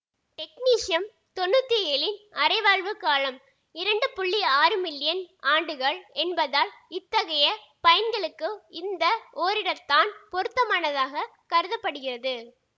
technetium தொன்னூத்தி ஏழின் அரைவாழ்வுக் காலம் இரண்டு புள்ளி ஆறு மில்லியன் ஆண்டுகள் என்பதால் இத்தகைய பயன்களுக்கு இந்த ஒரிடத்தான் பொருத்தமானதாகக் கருத படுகிறது